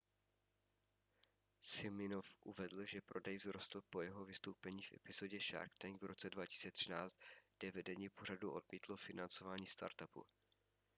siminoff uvedl že prodej vzrostl po jeho vystoupení v epizodě shark tank v roce 2013 kde vedení pořadu odmítlo financování startupu